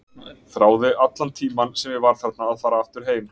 Þráði allan tímann sem ég var þarna að fara aftur heim.